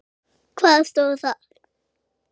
Hvað stóð þar?